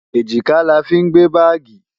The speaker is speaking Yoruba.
Èjìká la fí ń gbé báàgì.